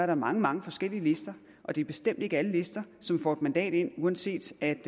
der mange mange forskellige lister og det er bestemt ikke alle lister som får et mandat ind uanset at